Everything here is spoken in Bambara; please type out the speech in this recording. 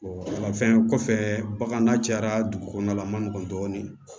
wala fɛn kɔfɛ bagan cayara dugu kɔnɔna la a man nɔgɔn dɔɔnin